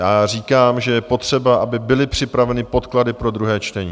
Já říkám, že je potřeba, aby byly připraveny podklady pro druhé čtení.